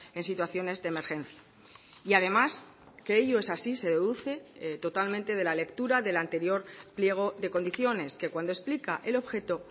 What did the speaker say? en situaciones de emergencia y además que ello es así se deduce totalmente de la lectura del anterior pliego de condiciones que cuando explica el objeto